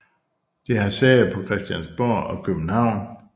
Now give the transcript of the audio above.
Det har sæde på Christiansborg i København